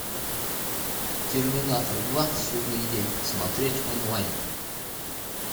терминатор два судный день смотреть онлайн